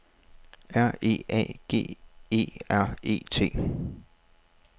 R E A G E R E T